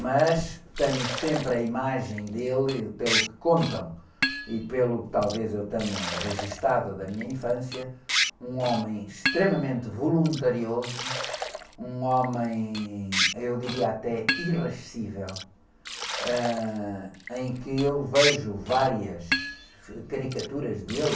mas tenho sempre a imagem dele, pelo que contam, e pelo que, talvez, eu tenha registrado da minha infância, um homem extremamente voluntarioso, um homem, eu diria até, ãh, em que eu vejo várias caricaturas dele,